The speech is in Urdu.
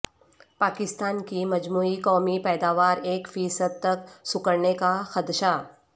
پاکستان کی مجموعی قومی پیداوار ایک فی صد تک سکڑنے کا خدشہ